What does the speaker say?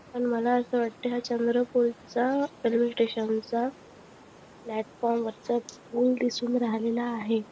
अन मला असं वाटत हा चंद्रपूरचा रेल्वे स्टेशन चा प्लॅटफॉर्म वरचा पूल दिसून राहिलेला आहे.